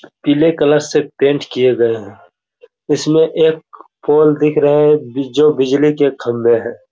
पीले कलर से पेंट किए गए है इसमें एक फॉल्ट दिख रहे है जो बिजली के खंभे है।